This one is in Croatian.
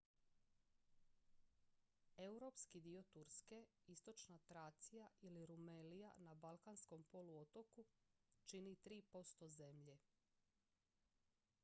europski dio turske istočna tracija ili rumelija na balkanskom poluotoku čini 3 % zemlje